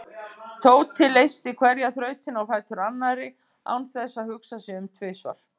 Tóti leysti hverja þrautina á fætur annarri án þess að hugsa sig um tvisvar.